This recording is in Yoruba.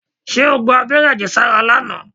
Ṣé o gba abẹ́rẹ́ àjẹsára lánàá?